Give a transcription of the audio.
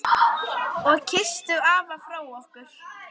Og kysstu afa frá okkur.